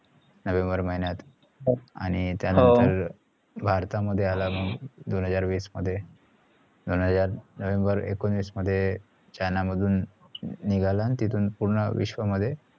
November महिन्यात आणि त्या नंतर भारता मध्ये आला मग दोन हजार वीस मध्ये दोन हजार नोव्हेंबर एकोणिस मध्ये चाइना मधुन निगाला आणि तिथून पुर्ण विश्व मध्ये